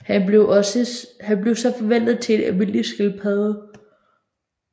Han bliver så forvandlet til en almindelig skildpadde